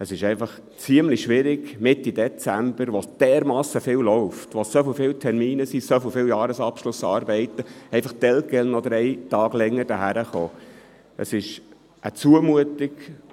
Es ist einfach ziemlich schwierig, Mitte Dezember, während dermassen viel läuft, so viele Termine stattfinden und Jahresabschlussarbeiten anstehen, noch für drei weitere Tage hierhin zu kommen.